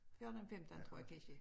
14 15 tror jeg kansje